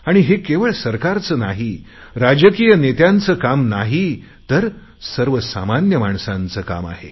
आणि हे केवळ सरकारचे नाही राजकीय नेत्याचे नाही तर सर्वसामान्य माणसाचे काम आहे